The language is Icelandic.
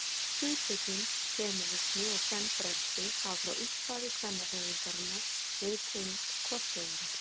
Hugtökin femínismi og kvenfrelsi hafa frá upphafi kvennahreyfingarinnar verið tengd hvort öðru.